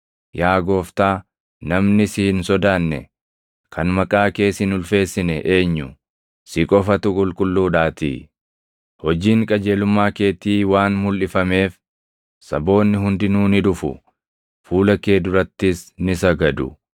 Yaa Gooftaa, namni si hin sodaanne, kan maqaa kees hin ulfeessine eenyu? Si qofatu qulqulluudhaatii. Hojiin qajeelummaa keetii waan mulʼifameef, saboonni hundinuu ni dhufu; fuula kee durattis ni sagadu.”